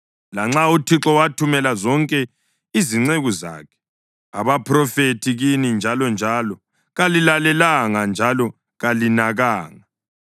Lanxa uThixo wathumela zonke izinceku zakhe abaphrofethi kini njalonjalo, kalilalelanga njalo kalinakanga.